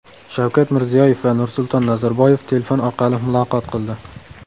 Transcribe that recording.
Shavkat Mirziyoyev va Nursulton Nazarboyev telefon orqali muloqot qildi.